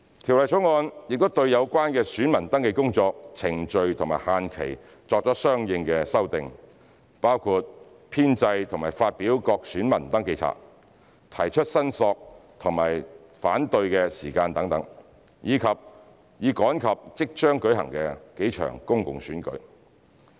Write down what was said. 《條例草案》亦對有關的選民登記工作、程序和限期作相應修訂，包括編製和發表各選民登記冊、提出申索及反對的時間等，以趕及即將舉行的數場公共選舉。